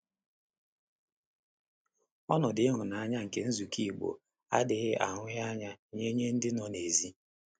Ọnọdụ ịhụnanya nke nzukọ Igbo adịghị ahụghị anya nye nye ndị nọ n’èzí.